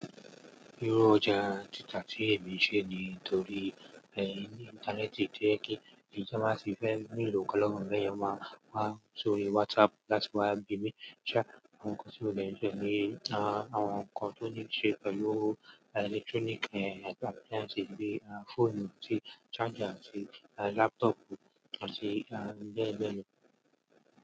Irú ọjà títa tí èmi ń ṣe ni torí ẹ̀ íńtánẹ́ẹ̀tì to jẹ́ kí ti won ba ti fẹ́ ní ìlo nkan lọ́wo mi beyen máa fi só rí WhatsApp láti wá gbe mí ṣá, àwọn nnkan tí obìnrin fe ní àwọn nnkan tó níí ṣe pẹ̀lú ẹ̀lẹ́ktrọ́níkì eh appliance bí í fóònù, atí charger, àti laptopù àti beẹ́ beẹ́ lọ.